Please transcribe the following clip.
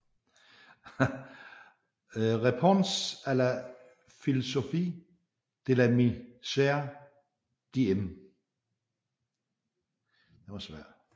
Réponse à la philosophie de la misère de M